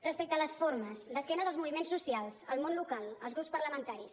respecte a les formes d’esquena als moviments socials al món local als grups parlamentaris